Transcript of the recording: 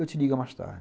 Eu te ligo mais tarde.